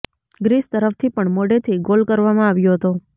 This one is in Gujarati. ગ્રીસ તરફથી પણ મોડેથી ગોલ કરવામાં આવ્યો હતો